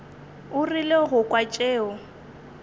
o rile go kwa tšeo